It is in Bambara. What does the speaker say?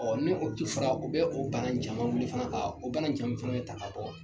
Ɔ ni o o bɛ o bana in caman wuli ka o banaja fana bɛ ta ka bɔ.